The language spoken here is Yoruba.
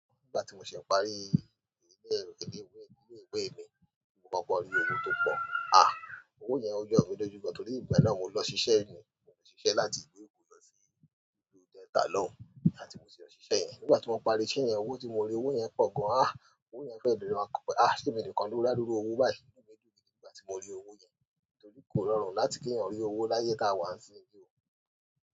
Nígbà tí mo ṣe parí ilé èkọ, ilé ìwé mi ni mo kọkọ rí owó tó pọ̀. Owó yẹn ó jọ mi lójú gan torí ìgbà náà mo lọ ṣiṣẹ́ ni, mo sì ṣiṣẹ́ láti ìlú Èkó lọ sí ìlú Delta lọun, àti mo sì lọ ṣiṣẹ́ ẹni. Nígbà tí mo parí iṣẹ́ yẹn owó tí mo rí owó yẹn pọ̀ gan. Owó yẹn fẹ́ dùn mọ́, à ṣé emi nìkan ló rí aduru owó báyìí inú mi dùn gidi nígbà tí mo rí owó yẹn. Torí kò rọrùn láti kí ènìyàn rí owó láyé tá a wà ń sin yi o.